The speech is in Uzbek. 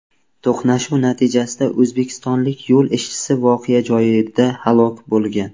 To‘qnashuv natijasida o‘zbekistonlik yo‘l ishchisi voqea joyida halok bo‘lgan.